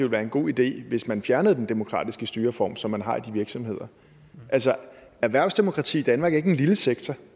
være en god idé hvis man fjernede den demokratiske styreform som man har i de virksomheder altså erhvervsdemokrati i danmark er ikke en lille sektor